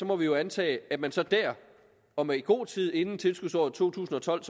må vi jo antage at man så dér og i god tid inden tilskudsåret to tusind og tolv